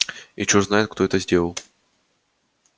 и черт знает кто это сделал